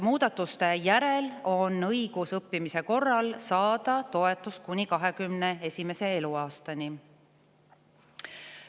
Muudatuste järel on õigus õppimise korral saada toetust kuni 21. eluaastani.